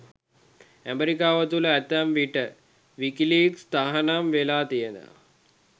ඇමරිකාව තුළ ඇතැම් විට විකිලීක්ස් තහනම් වෙලා තියෙනවා.